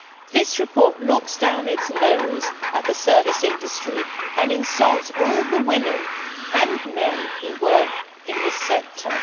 This report looks down its nose at the service industry and insults all the women and men who work in this sector.